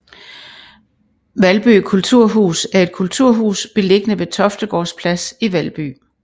Valby Kulturhus er et kulturhus beliggende ved Toftegårds Plads i Valby